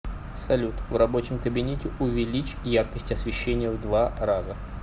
салют в рабочем кабинете увеличь яркость освещения в два раза